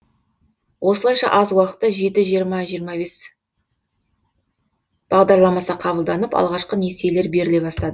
осылайша аз уақытта жеті жиырма жиырма бес бағдарламасы қабылданып алғашқы несиелер беріле бастады